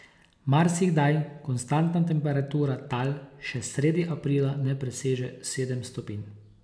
Marsikdaj konstantna temperatura tal še sredi aprila ne preseže sedem stopinj.